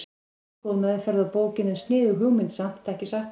Ekki góð meðferð á bókinni en sniðug hugmynd samt, ekki satt?